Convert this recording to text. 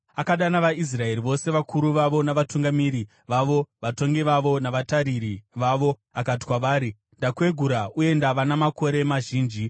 Akadana vaIsraeri vose, vakuru vavo, navatungamiri vavo, vatongi vavo, navatariri vavo, akati kwavari, “Ndakwegura uye ndava namakore mazhinji.